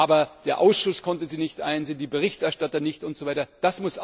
Aber der Ausschuss konnte sie nicht einsehen, die Berichterstatter nicht usw.